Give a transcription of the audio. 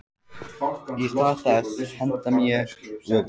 Í stað þess að henda mér öfug